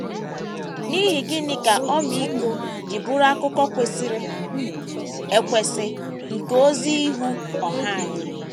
N’ihi gịnị ka ọmịiko ji bụrụ akụkụ kwesịrị ekwesị nke ozi ihu ọha anyị?